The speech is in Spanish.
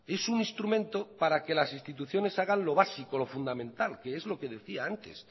es un instrumento para que las instituciones hagan lo básico lo fundamental que es lo que decía antes